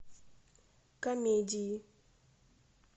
комедии